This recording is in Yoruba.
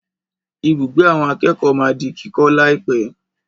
Ibùgbé àwọn akẹ́kọ̀ọ́ máa di kíkọ́ láìpẹ̀.